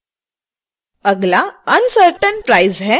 अगला uncertain price है